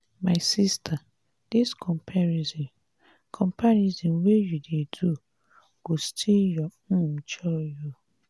my sista dis comparison comparison wey you dey do go steal your um joy o.